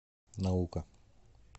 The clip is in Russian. наука